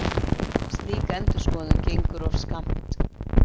Slík endurskoðun gengur of skammt.